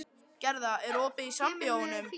Gerða, er opið í Sambíóunum?